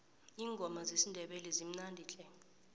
iingoma zesindebele zimnandi tle